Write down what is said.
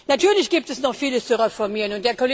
Natürlich gibt es noch Vieles zu reformieren.